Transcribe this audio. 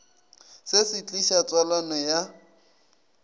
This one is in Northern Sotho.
se se tliša tswalano ya